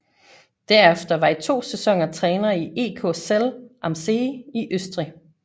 Derefter var i to sæsoner træner i EK Zell am See i Østrig